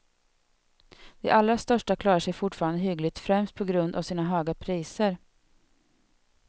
De allra största klarar sig forfarande hyggligt, främst på grund av sina höga priser.